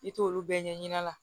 I t'olu bɛɛ ɲɛɲini a la